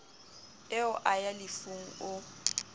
eo a ya lefung o